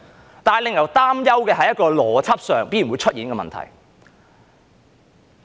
可是，令人擔憂的是在邏輯上必然會出現這個問題。